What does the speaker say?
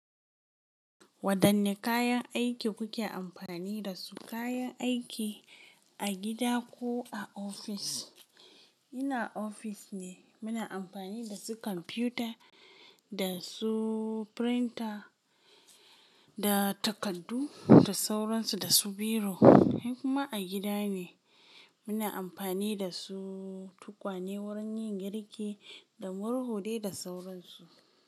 Wadanne kayan aiki kuke amfani da su, kayan aiki a gida ko a ofis? Ina ofis ne muna amfani da su kwamfuta da su printer da takardu da sauransu da su biro. Kuma a gida ne muna amfani da su tukwane wurin yin girki da murhu dai da sauransu.